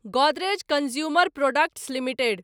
Godrej consumer products limited